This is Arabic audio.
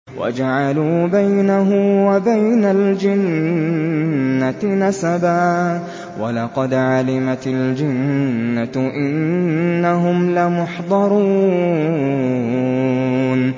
وَجَعَلُوا بَيْنَهُ وَبَيْنَ الْجِنَّةِ نَسَبًا ۚ وَلَقَدْ عَلِمَتِ الْجِنَّةُ إِنَّهُمْ لَمُحْضَرُونَ